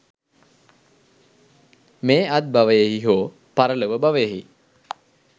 මේ අත්බවයෙහි හෝ පරලොව භවයෙහි